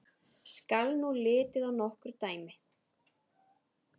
Skal nú litið á nokkur dæmi.